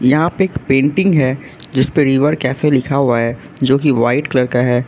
यहां पे एक पेंटिंग है जिसपे रिवर कैफे लिखा हुआ है जो की वाइट कलर का है।